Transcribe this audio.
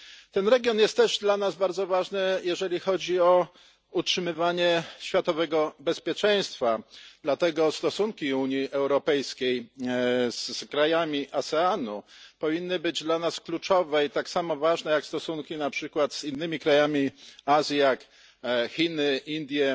Ten region jest też dla nas bardzo ważny, jeżeli chodzi o utrzymywanie światowego bezpieczeństwa, dlatego stosunki Unii Europejskiej z krajami ASEAN powinny być dla nas kluczowe i tak samo ważne jak stosunki na przykład z innymi krajami Azji jak Chiny, Indie